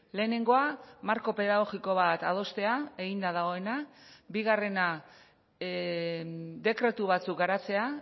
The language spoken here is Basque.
lehenengoa marko pedagogiko bat adostea eginda dagoena bigarrena dekretu batzuk garatzea